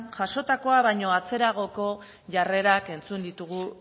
jasotakoa baino atzeragoko jarrerak entzun ditugu